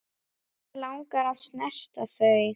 Mig langar að snerta þau.